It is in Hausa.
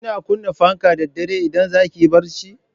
Kina kunna fanka da dare idan za ki yi barci?